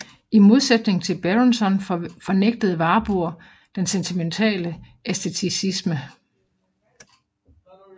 I modsætning til Berenson fornægtede Warburg den sentimentale æsteticisme